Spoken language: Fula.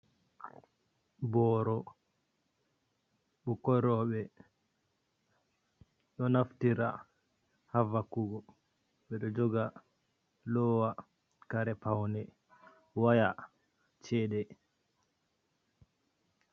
Boro ɓukkoi roɓɓe ɗo naftira ha vakugo ɓeɗo joga lowa care paune, waya, chede.